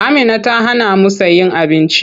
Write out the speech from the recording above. Amina ta hanamu sayen abinci.